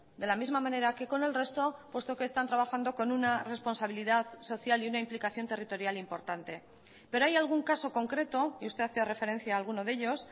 de la misma manera que con el resto puesto que están trabajando con una responsabilidad social y una implicación territorial importante pero hay algún caso concreto y usted hace referencia a alguno de ellos